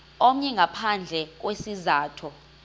omnye ngaphandle kwesizathu